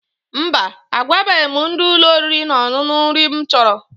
Mba, agwabeghi m ndị ụlọ oriri na ọṅụṅụ nri m chọrọ.